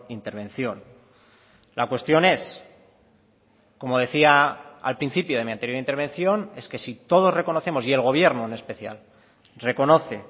intervención la cuestión es como decía al principio de mi anterior intervención es que si todos reconocemos y el gobierno en especial reconoce